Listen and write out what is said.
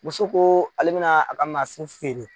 Muso ko ale bɛna a ka mansin feere.